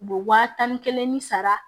U bɛ waa tan ni kelen ni sara